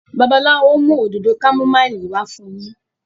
Babalawo mú Òdòdó kámúmáìlì wá fún yín.